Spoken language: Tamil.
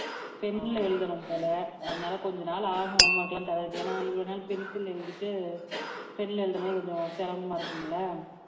pen ல எழுதனும் போல அதனால கொஞ்ச நாள் ஆகும் home work எல்லாம் தரதுக்கு ஏன்னா இவ்வளவு நாள் pencil எழுதிட்டு pen ல எழுதும் போது கொஞ்சம் சிரமமா இருக்கும் இல்ல